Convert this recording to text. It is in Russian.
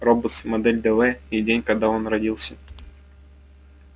роботс модель дв и день когда он родился